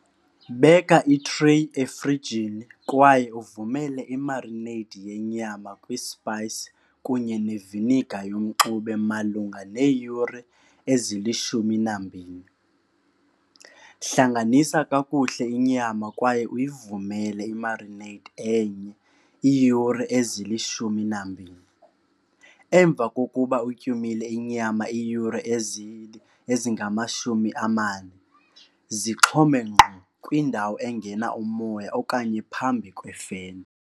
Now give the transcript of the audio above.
Beka itreyi efrijini kwaye uvumele imarineyidi yenyama kwispayisi kunye neviniga yomxube malunga neeyure ezilishumi nambini. Hlanganisa kakuhle inyama kwaye uyivumele imarineyidi enye iiyure ezilishumi nambini. Emva kokuba uyityumile inyama iiyure ezingamashumi amane, zixhome ngqo kwindawo engena umoya okanye phambi kwefeni.